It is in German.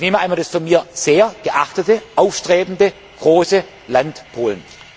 Ich nehme einmal das von mir sehr geachtete, aufstrebende, große Land Polen.